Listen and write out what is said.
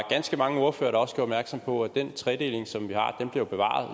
ganske mange ordførere der også gjorde opmærksom på at den tredeling som vi har bliver bevaret